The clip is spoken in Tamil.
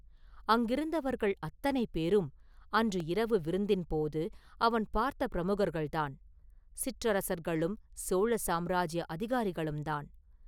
அங்கிருந்தவர்கள் அத்தனை பேரும் அன்று இரவு விருந்தின் போது அவன் பார்த்த பிரமுகர்கள்தான்; சிற்றரசர்களும் சோழ சாம்ராஜ்ய அதிகாரிகளுந்தான்.